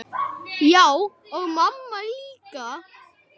Já, og mamma líka.